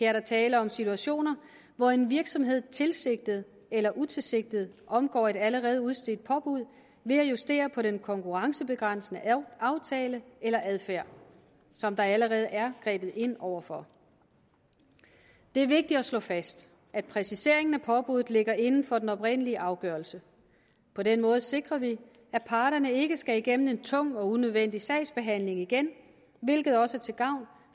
er der tale om situationer hvor en virksomhed tilsigtet eller utilsigtet omgår et allerede udstedt påbud ved at justere på den konkurrencebegrænsende aftale eller adfærd som der allerede er grebet ind over for det er vigtigt at slå fast at præciseringen af påbuddet ligger inden for den oprindelige afgørelse på den måde sikrer vi at parterne ikke skal igennem en tung og unødvendig sagsbehandling igen hvilket også er til gavn